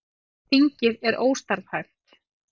Þingið er óstarfhæft